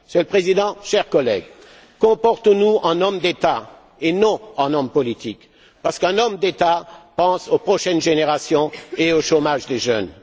Monsieur le Président, chers collègues, comportons nous en hommes d'État et non en hommes politiques, parce qu'un homme d'État pense aux prochaines générations et au chômage des jeunes.